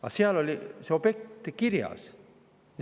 Aga seal oli see objekt kirjas.